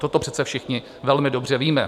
Toto přece všichni velmi dobře víme.